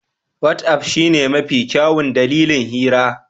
Wat'af shine mafi kyawun dandalin hira.